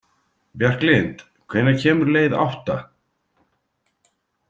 Bjarklind, hvenær kemur leið átta?